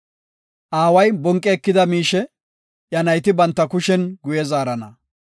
Aaway bonqi ekida miishe, iya nayti banta kushen guye zaarana.